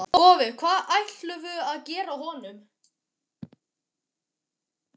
Boði: Hvað ætlarðu að gefa honum?